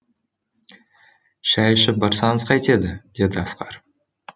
шай ішіп барсаңыз қайтеді деді асқар